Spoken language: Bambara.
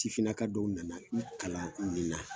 Sifinna ka dɔw nana n kalan nin na